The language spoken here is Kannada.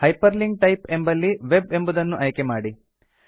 ಹೈಪರ್ಲಿಂಕ್ ಟೈಪ್ ಎಂಬಲ್ಲಿ ವೆಬ್ ಎಂಬುದನ್ನು ಆಯ್ಕೆ ಮಾಡಿ